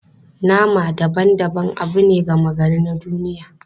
Nama daban-daban abu ne gama gari na duniya.